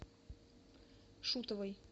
шутовой